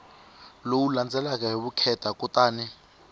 lowu landzelaka hi vukheta kutani